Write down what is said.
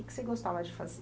O que você gostava de fazer?